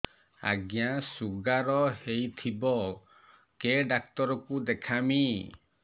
ଆଜ୍ଞା ଶୁଗାର ହେଇଥିବ କେ ଡାକ୍ତର କୁ ଦେଖାମି